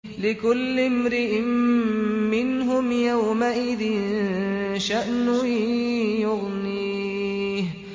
لِكُلِّ امْرِئٍ مِّنْهُمْ يَوْمَئِذٍ شَأْنٌ يُغْنِيهِ